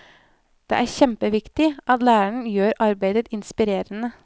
Det er kjempeviktig at læreren gjør arbeidet inspirerende.